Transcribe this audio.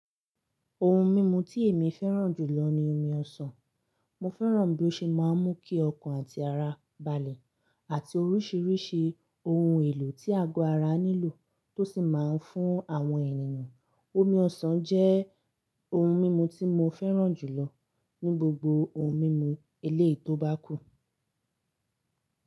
Ohun mímu tí èmi fẹ́ràn jù lọ ni omi ọsàn. Mo fẹ́ràn bí ó ṣe máa ń mú kí ọkàn àti ara balẹ̀, àti oríṣiríṣi ohun èlò tí ago ara nílò tó sì máa ń fún àwọn ènìyàn. Omi ọsàn jẹ́ ohun mímu tí mo fẹ́ràn jù lọ ní gbogbo ohun mímu eléyìí tó bá kù.